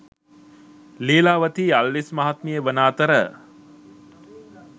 ලීලාවතී අල්විස් මහත්මිය වන අතර